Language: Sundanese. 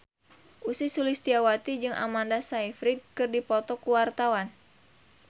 Ussy Sulistyawati jeung Amanda Sayfried keur dipoto ku wartawan